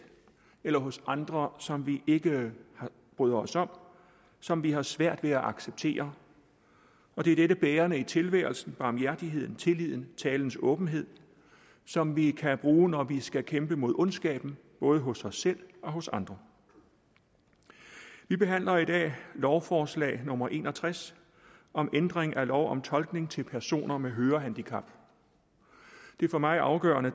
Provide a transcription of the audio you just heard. eller hos andre som vi ikke bryder os om som vi har svært ved at acceptere og det er dette bærende i tilværelsen barmhjertigheden tilliden talens åbenhed som vi kan bruge når vi skal kæmpe mod ondskaben både hos os selv og hos andre vi behandler i dag lovforslag nummer l en og tres om ændring af lov om tolkning til personer med hørehandicap det for mig afgørende